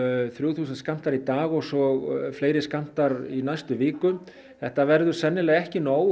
þrjú þúsund skammtar í dag og svo fleiri skammtar í næstu viku þetta verður sennilega ekki nóg